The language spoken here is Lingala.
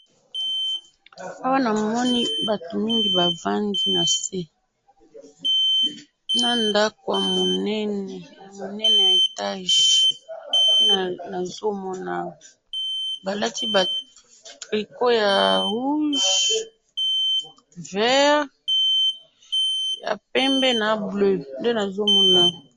Awa namoni batu mingi bavandi nase na ndaku ya munene ya munene ya etage, nde nazomona awa balati ba tricot oyo ya rouge vert ya pembe na bleu nde nazomona awa.